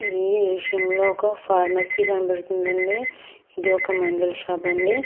ఈ విషయంలో ఒక ఫార్మసీ కనపడుతుంది అండి ఇది ఒక మందుల షాప్ అండి.